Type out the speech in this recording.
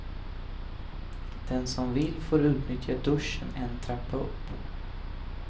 Den som vill får utnyttja duschen en trappa upp.